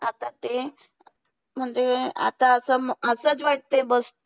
आता ते म्हणजे आता असं असंच वाटते बघ.